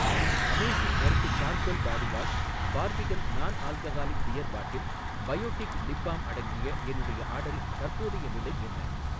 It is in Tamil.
amazing earth charcoal body wash, Barbican non alcoholic beer bottle, Biotique lip balm அடங்கிய என்னுடைய ஆர்டரின் தற்போதைய நிலை என்ன